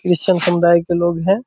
किस सम समुदाय के लोग हैं।